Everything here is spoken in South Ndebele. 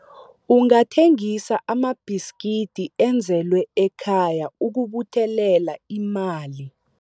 Ungathengisa amabhiskidi enzelwe ekhaya ukubuthelela imali.